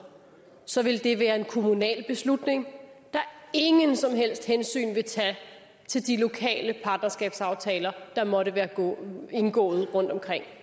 så ville det være en kommunal beslutning der ingen som helst hensyn vil tage til de lokale partnerskabsaftaler der måtte være indgået rundtomkring